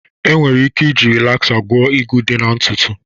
Enwere ike iji Rịlaza gwọ ịgwu ịdị na ntutu